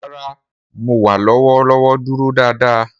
Rara, Mo wa lọwọlọwọ duro daadaa.